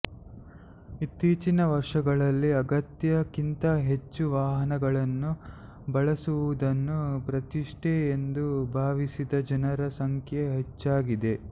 ಇತ್ತೀಚಿನ ವರ್ಷಗಳಲ್ಲಿ ಅಗತ್ಯಕ್ಕಿಂತ ಹೆಚ್ಚು ವಾಹನಗಳನ್ನು ಬಳಸುವುದನ್ನು ಪ್ರತಿಷ್ಠೆ ಎಂದು ಭಾವಿಸಿದ ಜನರ ಸಂಖ್ಯೆ ಹೆಚ್ಚಾಗಿದೆ